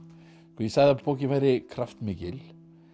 ég sagði að bókin væri kraftmikil